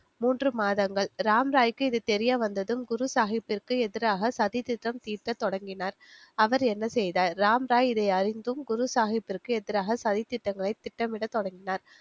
மூன்று மாதங்கள் ராம்ராய்க்கு இது தெரியவந்ததும் குருசாஹிப்பிற்கு எதிராக சதித்திட்டம் தீட்ட தொடங்கினார் அவர் என்ன செய்தார் ராம்ராய் இது அறிந்தும் குருசாஹிப்பிற்கு எதிராக சதித்திட்டங்களை திட்டமிடத் தொடங்கினர்